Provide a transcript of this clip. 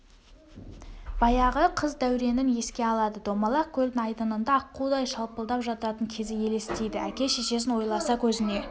баяғы қыз дәуренін еске алады домалақ көлдің айдынында аққудай шалпылдап жататын кезі елестейді әке-шешесін ойласа көзіне